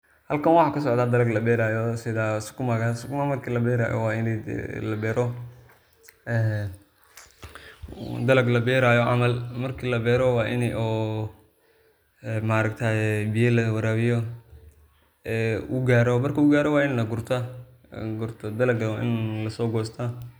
Halkan waxa kasocda dalag laberayo sida sukumaga, sukumaga marki laberayo wa inii labero dalag laberayo camal marka labero wa inii oo biyo lawarawiyo oo ugaro marku garo wa inii gurta dalagana wa inii lasogosta.